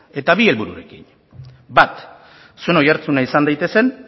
eta bi helbururekin bat zuen oihartzuna izan daitezen